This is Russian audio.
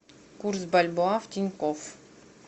курс бальбоа в тинькофф